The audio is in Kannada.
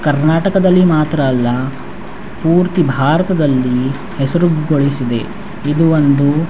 ಕರ್ಣಾಟಕದಲ್ಲಿ ಮಾತ್ರ ಅಲ್ಲ ಪೂರ್ತಿ ಭಾರತದಲ್ಲಿ ಹೆಸ್ರು ಗಳಿಸಿದೆ ಇದು ಒಂದು --